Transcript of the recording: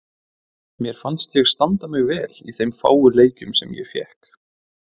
Mér fannst ég standa mig vel í þeim fáu leikjum sem ég fékk.